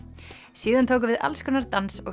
síðan tóku við alls konar dans og